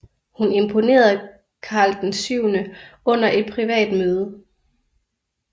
Hun imponerede Karl VII under et privat møde